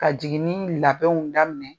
Ka jiginni labɛnw daminɛ .